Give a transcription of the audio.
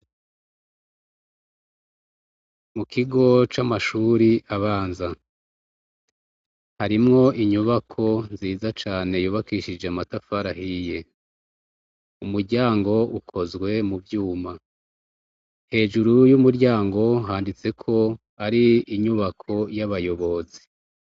Mu kigo c' amashuri abanza. Harimwo inyubako nziza cane yubakishije amatafari ahiye. Umuryango ukozwe mu vyuma. Hejuru y' umuryango handitse ko ari inyubako y' abayobozi .